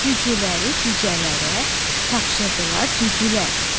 Cücüləri cücələrə tapşırdılar cücələr.